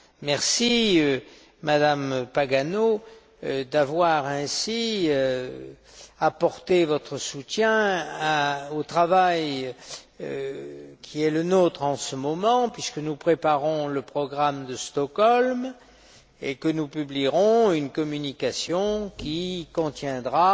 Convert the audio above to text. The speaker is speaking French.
Merci, Madame Pagano, d'avoir ainsi apporté votre soutien au travail qui est le nôtre en ce moment, puisque nous préparons le programme de Stockholm et que nous publierons une communication qui contiendra